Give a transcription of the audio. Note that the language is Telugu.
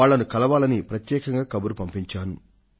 వాళ్లను కలవాలని ప్రత్యేకంగా కబురు పంపించాను